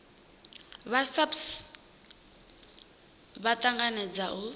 vha saps vha tanganedza u